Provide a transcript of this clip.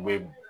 Me